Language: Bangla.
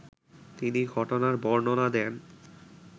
তিনি ঘটনার বর্ণনা দেন